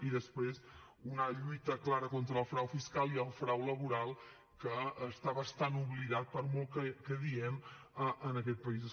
i després una lluita clara contra el frau fiscal i el frau laboral que està bastant oblidat per molt que diem en aquest país